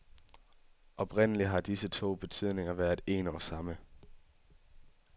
Oprindelig har disse to betydninger været en og samme.